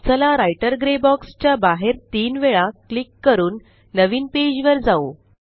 चला writer grey box च्या बाहेर तीन वेळा क्लिक करून नवीन पेज वर जाऊ